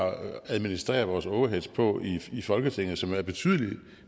administreret vores overheads på i folketinget som er betydelig